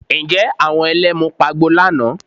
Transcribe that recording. Ǹjẹ́ àwọn Ẹlẹ́mu pagbo lánàá?